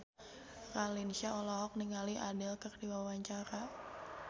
Raline Shah olohok ningali Adele keur diwawancara